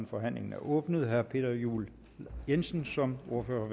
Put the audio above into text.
forhandlingen er åbnet herre peter juel jensen som ordfører